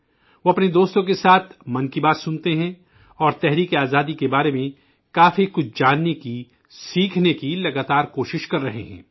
وہ اپنے دوستوں کے ساتھ 'من کی بات' سنتے ہیں اور جنگ آزادی کے بارے کافی کچھ جاننے سیکھنے کی مسلسل کوشش کر رہا ہے